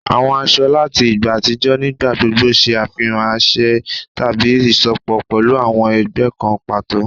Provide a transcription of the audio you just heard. Àwọn aṣọ láti ìgbà àtijọ́ nígbà gbogbo ṣe àfihàn àṣẹ tàbí isọpọ pẹlu awọn ẹgbẹ́ kan pàtó